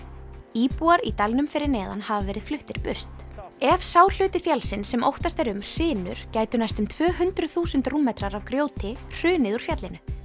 íbúar í dalnum fyrir neðan hafa verið fluttir burt ef sá hluti fjallsins sem óttast er um hrynur gætu næstum tvö hundruð þúsund rúmmetrar af grjóti hrunið úr fjallinu